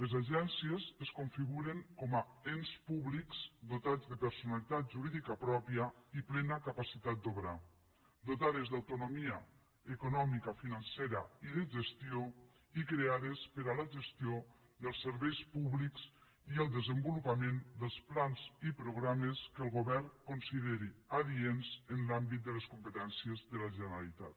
les agències es configuren com a ens públics dotats de personalitat jurídica pròpia i plena capacitat d’obrar dotades d’autonomia econòmica financera i de gestió i creades per a la gestió dels serveis públics i el desenvolupament dels plans i programes que el govern consideri adients en l’àmbit de les competències de la generalitat